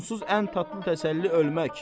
Onsuz ən tatlı təsəlli ölmək.